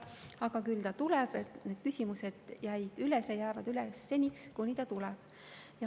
Aga küll ta tuleb, need küsimused jäid üles ja jäävad üles seniks, kuni ta tuleb.